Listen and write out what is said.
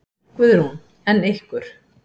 Guðrún: En ykkur?